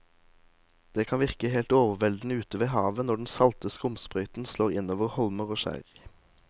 Det kan virke helt overveldende ute ved havet når den salte skumsprøyten slår innover holmer og skjær.